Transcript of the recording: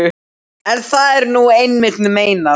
En það er nú einmitt meinið.